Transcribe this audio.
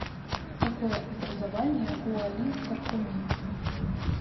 какое образование у али тархуни